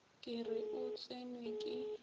ke re o tsenwe ke